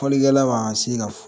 Folikɛla ma ka se ka